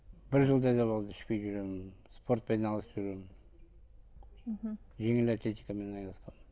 бір жылда да болды ішпей жүрегенім спортпен айналысып жүрегенім мхм жеңіл атлетикамен айналысқанмын